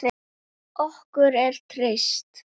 Okkur er treyst